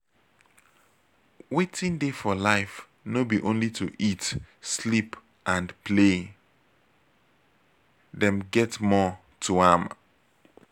wetin dey for life no be only to eat sleep and play dem get more to am